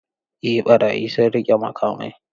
Eh barayi sun riƙe makamai.